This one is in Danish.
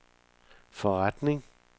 forretning